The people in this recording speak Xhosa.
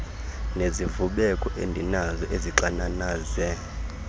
nezivubeko endinazo ezixananaze